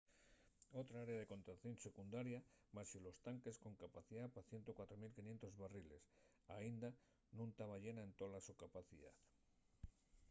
otra área de contención secundaria baxo los tanques con capacidá pa 104.500 barriles aínda nun taba llena en tola so capacidá